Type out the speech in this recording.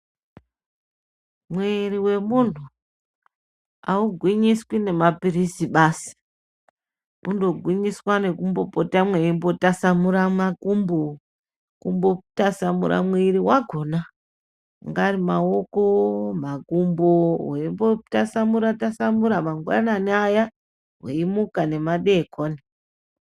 Mwiiri wemuntu haugwinyiswi nemaphilisi basi. Unogwinyiswa nekumbopota mweimbotasamura makumbo, kumbotasamura mwiiri wakona angari maoko, makumbo weimbotasamura-tasamura mangwanani aya mweimuka nemadeekoni.